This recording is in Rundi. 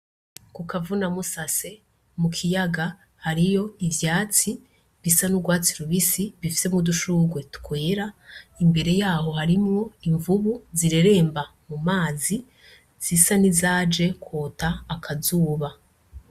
Ku kavuna musase mu kiyaga hariyo ivyatsi bisa n'urwatsi rubisi bifise mu dushurwe twera imbere yaho harimwo imvubu zireremba mu mazi zisa ni zaje kwota akazuba.